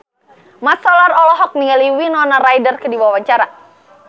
Mat Solar olohok ningali Winona Ryder keur diwawancara